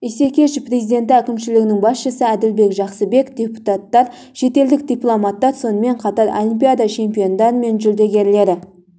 исекешев президенті әкімшілігінің басшысы әділбек жақсыбеков депутаттар шетелдік дипломаттар сонымен қатар олимпиада чемпиондары мен жүлдегерлері